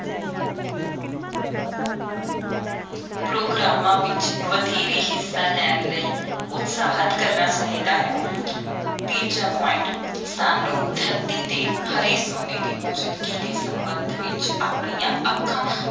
ਪ੍ਰੋਗਰਾਮਾਂ ਵਿਚ ਵਧੇਰੇ ਹਿੱਸਾ ਲੈਣ ਲਈ ਉਤਸ਼ਾਹਤ ਕਰਨਾ ਚਾਹੀਦਾ ਹੈ ਤੀਜਾ point ਸਾਨੂੰ ਧਰਤੀ ‘ਤੇ ਹਰੇ ਸੋਨੇ ਦੀ ਮੌਜੂਦਗੀ ਦੇ ਸੰਬੰਧ ਵਿਚ ਆਪਣੀਆਂ ਅੱਖਾਂ